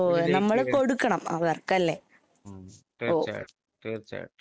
ഉം തീർച്ചയായിട്ടും തീർച്ചയായിട്ടും.